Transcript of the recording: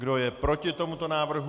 Kdo je proti tomuto návrhu?